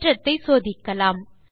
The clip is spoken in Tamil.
தேற்றத்தை சோதிக்கலாம்